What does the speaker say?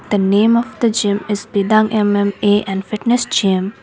the name of the gym is bidang MMA and fitness gym.